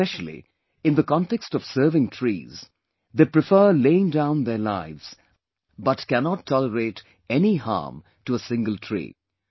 Specially, in the context of serving trees, they prefer laying down their lives but cannot tolerate any harm to a single tree